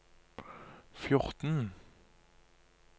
fjorten